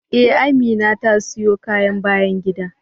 Ee, Amina ta siyo kayan bayan gida.